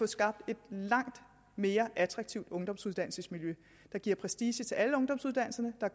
skabes et langt mere attraktivt ungdomsuddannelsesmiljø der giver prestige til alle ungdomsuddannelserne og